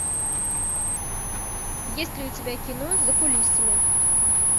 есть ли у тебя кино за кулисами